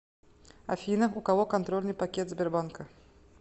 афина у кого контрольный пакет сбербанка